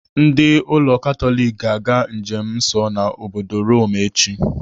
Ndị ụlọ Katọlik ga-aga njem nsọ ha n'obodo Rome echi.